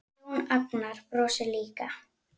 Jón Agnar brosir líka.